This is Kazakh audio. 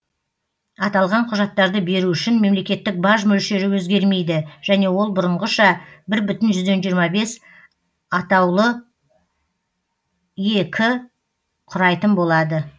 аталған құжаттарды беру үшін мемлекеттік баж мөлшері өзгермейді және ол бұрынғыша бір бүтін жүзден жиырма бес атаулы ек құрайтын болады